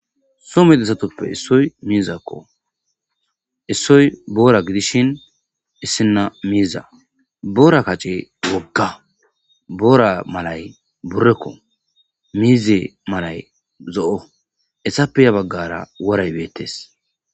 so medissatoppe issoy miizakko issoy boora gidishin issinna miiza boora kace wogga boora malay burrekko miize malay zo'o essappe ya baggara woray beettes